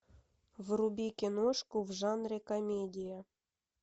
вруби киношку в жанре комедия